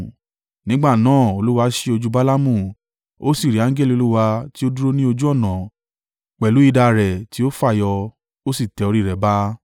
Nígbà náà Olúwa ṣí ojú Balaamu, ó sì rí angẹli Olúwa tí ó dúró ní ojú ọ̀nà pẹ̀lú idà rẹ̀ tí ó fàyọ. Ó sì tẹ orí rẹ̀ ba.